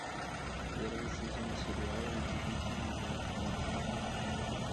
первый сезон сериала удивительный мир гамбола